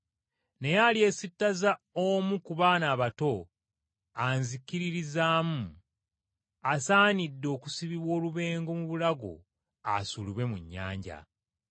Naye alyesittaza omu ku baana abato anzikiririzaamu, asaanidde okusibibwa olubengo mu bulago asuulibwe mu nnyanja.”